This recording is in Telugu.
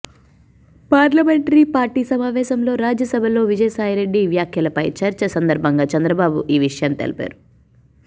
పార్లమెంటరీ పార్టీ సమావేశంలో రాజ్యసభలో విజయసాయిరెడ్డి వ్యాఖ్యలపై చర్చ సందర్భంగా చంద్రబాబు ఈ విషయాన్ని తెలిపారు